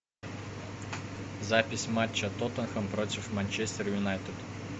запись матча тоттенхэм против манчестер юнайтед